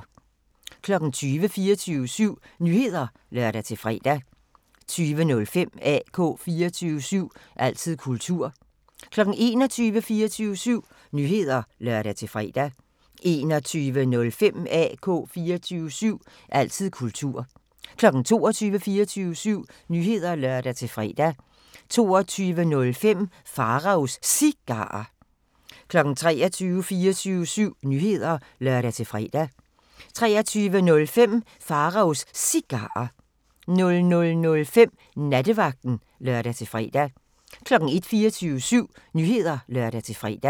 20:00: 24syv Nyheder (lør-fre) 20:05: AK 24syv – altid kultur 21:00: 24syv Nyheder (lør-fre) 21:05: AK 24syv – altid kultur 22:00: 24syv Nyheder (lør-fre) 22:05: Pharaos Cigarer 23:00: 24syv Nyheder (lør-fre) 23:05: Pharaos Cigarer 00:05: Nattevagten (lør-fre) 01:00: 24syv Nyheder (lør-fre)